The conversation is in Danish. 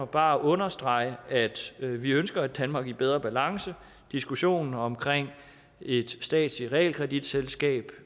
bare understrege at vi ønsker et danmark i bedre balance diskussionen om et statsligt realkreditselskab